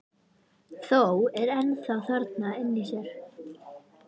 Þó er það ennþá þarna inni í sér.